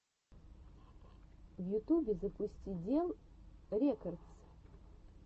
в ютюбе запусти дел рекордс